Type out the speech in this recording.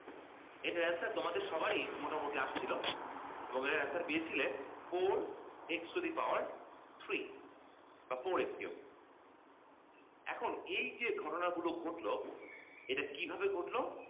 এইটার answer তোমাদের সবারই মোটামুটি আসছিল এবং এর answer পেয়েছিলে four x to the power three বা four x cube এখন এই যে ঘটনা গুলো ঘটলো এটা কিভাবে ঘটলো